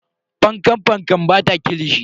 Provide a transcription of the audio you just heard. Fankan Fankan bata kilishi.